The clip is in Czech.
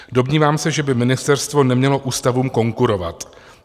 Domnívám se, že by ministerstvo nemělo ústavům konkurovat.